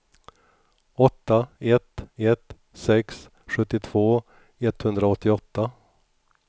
åtta ett ett sex sjuttiotvå etthundraåttioåtta